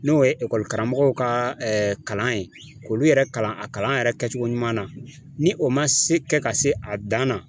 N'o ye karamɔgɔw ka kalan ye k'olu yɛrɛ kalan a kalan yɛrɛ kɛcogo ɲuman na ni o ma se kɛ ka se a dan na